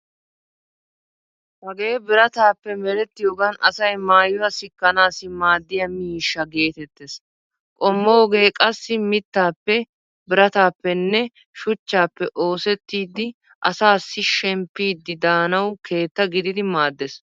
Hagee birataape merettiyogan asay maayuwaa sikkanaassi maaddiya miishsha geetettees. Qommoogee qassi mittaappe birataappenme shuchchaappe oosettidi asaassi shemppidi daanawu keetta gididi maaddeees.